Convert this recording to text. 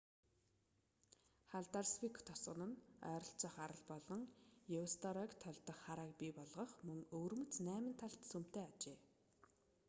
халдарсвик тосгон нь ойролцоох арал болох еусторойг тольдох харааг бий болгох мөн өвөрмөц найман талт сүмтэй аж